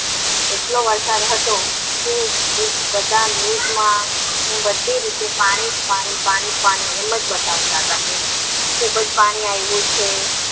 એટલો વરસાદ હતો કે બધા news માં બધી રીતે પાણી પાણી એમજ બતવતા હતા કે ખુબજ પાણી આવીયુ છે.